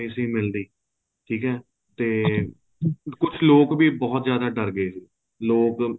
ਨਹੀਂ ਸੀ ਮਿਲਦੀ ਠੀਕ ਹੈ ਤੇ ਕੁੱਛ ਲੋਕ ਵੀ ਬਹੁਤ ਜਿਆਦਾ ਦਰ ਗਏ ਸੀਗੇ ਲੋਕ